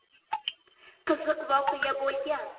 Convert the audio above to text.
Qiziq voqea bo‘lgan.